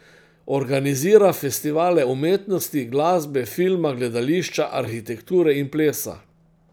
Organizira festivale umetnosti, glasbe, filma, gledališča, arhitekture in plesa.